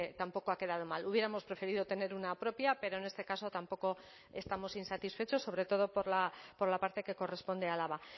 tampoco ha quedado mal hubiéramos preferido tener una propia pero en este caso tampoco estamos insatisfechos sobre todo por la parte que corresponde a álava